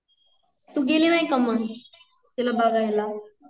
तु गेली नाहीका मग तिला बघायला